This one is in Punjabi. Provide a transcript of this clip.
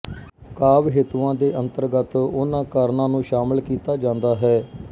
ਕਾਵਿ ਹੇਤੂਆਂ ਦੇ ਅੰਤਰਗਤ ਉਨ੍ਹਾਂ ਕਾਰਣਾਂ ਨੂੰ ਸ਼ਾਮਲ ਕੀਤਾ ਜਾਂਦਾ ਹੈ